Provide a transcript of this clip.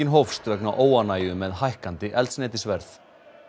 hófst vegna óánægju með hækkandi eldsneytisverð